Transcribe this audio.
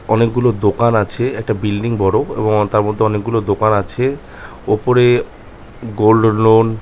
অনেক গুলো দোকান আছে একটা বিল্ডিং বড়ো এবং তার মধ্যে অনেকগুলো দোকান আছে ওপরে গোল্ড লোন --